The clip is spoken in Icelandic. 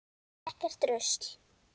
Ekkert rusl.